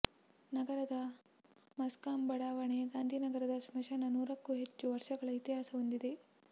ನಗರದ ಮಸ್ಕಂ ಬಡಾವಣೆ ಗಾಂಧಿನಗರ ಸ್ಮಶಾನ ನೂರಕ್ಕೂ ಹೆಚ್ಚು ವರ್ಷಗಳ ಇತಿಹಾಸ ಹೊಂದಿದೆ